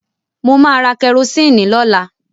Mo máa ra kẹrosíìnì lọ́la.